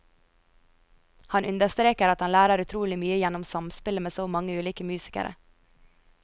Han understreker at han lærer utrolig mye gjennom samspillet med så mange ulike musikere.